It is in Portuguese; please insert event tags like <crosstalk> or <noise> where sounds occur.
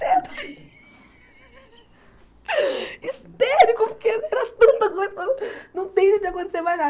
<laughs> Histérico, porque era tanta coisa, não tem jeito de acontecer mais nada.